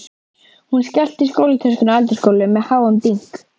Hún skellti skólatöskunni á eldhúsgólfið með háum dynk.